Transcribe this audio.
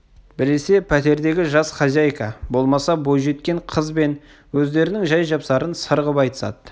біресе пәтердегі жас хозяйка болмаса бойжеткен қыз бен өздерінің жай-жапсарын сыр ғып айтысады